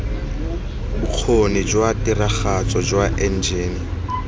bokgoni jwa tiragatso jwa enjene